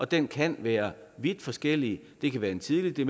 den kan være vidt forskellig det kan være en tidlig